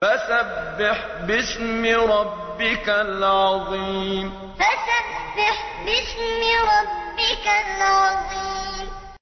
فَسَبِّحْ بِاسْمِ رَبِّكَ الْعَظِيمِ فَسَبِّحْ بِاسْمِ رَبِّكَ الْعَظِيمِ